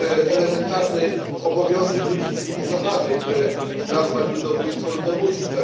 Elementarnym obowiązkiem ludzi cywilizowanych jest nazwać ludobójstwo ludobójstwem.